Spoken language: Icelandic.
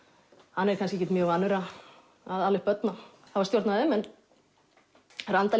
hann er kannski ekkert mjög vanur að ala upp börn og hafa stjórn á þeim en Randalín